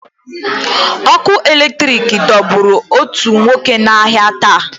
Ọkụ eletrik dọgburu òtù nwoke n'ahịa taa.